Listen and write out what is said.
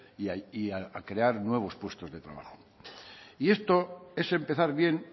y a crear nuevos puestos de trabajo y esto es empezar bien